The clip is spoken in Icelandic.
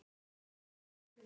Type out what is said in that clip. Svona var afi.